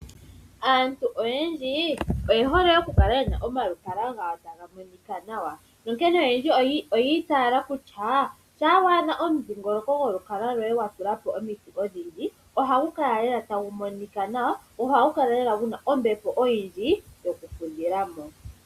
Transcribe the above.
Aantu oyendji oye hole okukala yena omalukalwa gawo taga monika nawa nonkene oyendji oya itaala kutya shampa wa adha omudhingoloko golukalwa loye wa tula po omiti odhindji, ohagunkala lela tagu monika nawa, go ohagu kala lela guna ombepo oyindji yokufudhila mo.